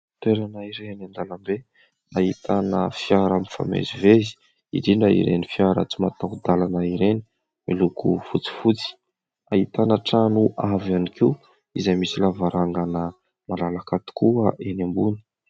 Toerana iray eny an-dalambe ahitana fiara mifamezivezy, indrindra ireny fiara tsy mataho-dalana ireny, miloko fotsifotsy. Ahitana trano avo ihany koa izay misy lavarangana malalaka tokoa eny ambony.